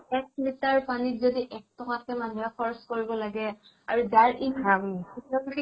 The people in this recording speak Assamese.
এক litre পানীত যদি এক টকে কে মানুহে খৰচ কৰিব লাগে আৰু যাৰ ইন হাম